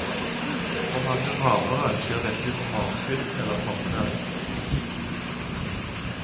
For mange ravere skjer dette utpå morgenkvisten eller formiddagen.